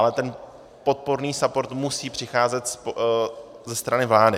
Ale ten podpůrný support musí přicházet ze strany vlády.